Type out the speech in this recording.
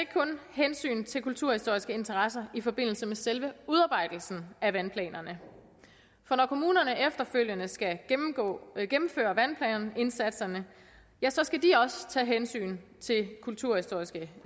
hensyn til kulturhistoriske interesser i forbindelse med selve udarbejdelsen af vandplanerne for når kommunerne efterfølgende skal gennemføre vandplanindsatserne skal de også tage hensyn til kulturhistoriske